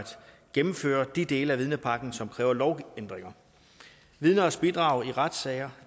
gennemføre de dele af vidnepakken som kræver lovændringer vidners bidrag i retssager